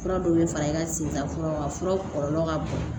Fura dɔw bɛ fara i ka sen kan fura kɔlɔlɔ ka bon